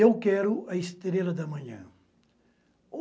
Eu quero a estrela da manhã.